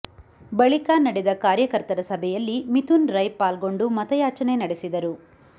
ಬಳಿಕ ನಡೆದ ಕಾರ್ಯಕರ್ತರ ಸಭೆಯಲ್ಲಿ ಮಿಥುನ್ ರೈ ಪಾಲ್ಗೊಂಡು ಮತಯಾಚನೆ ನಡೆಸಿದರು